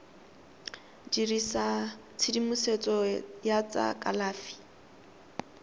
dirisa tshedimosetso ya tsa kalafi